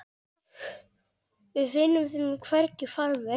Við finnum þeim hvergi farveg.